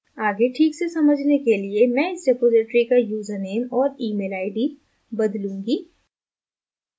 आगे ठीक से समझने के लिए मैं इस रिपॉज़िटरी का यूज़रनेम और email id बदलूँगी